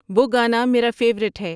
وہ گانا میرا فیورٹ ہے